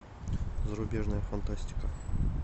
зарубежная фантастика